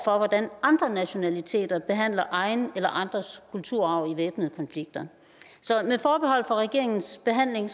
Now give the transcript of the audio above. for hvordan andre nationaliteter behandler egen eller andres kultur i væbnede konflikter så med forbehold for regeringens behandling